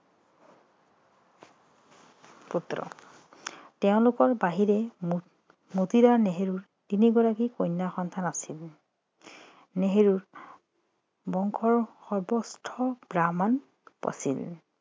পুত্ৰ তেওঁলোকৰ বাহিৰে মতি মতিলাল নেহেৰুৰ তিনিগৰাকী কন্যা সন্তান আছিল নেহেৰু বংশৰ সৰ্বোচ্চ ব্ৰাহ্মণ আছিল